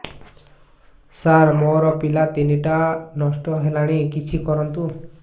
ସାର ମୋର ପିଲା ତିନିଟା ନଷ୍ଟ ହେଲାଣି କିଛି କରନ୍ତୁ